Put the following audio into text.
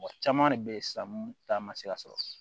Mɔgɔ caman de bɛ ye sisan mun ta ma se ka sɔrɔ